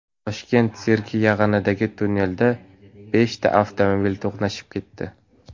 Toshkent sirki yaqinidagi tunnelda beshta avtomobil to‘qnashib ketdi.